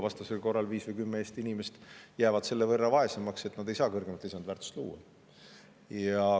Vastasel korral jääb 5 või 10 Eesti inimest selle võrra vaesemaks, et nad ei saa kõrgemat lisandväärtust luua.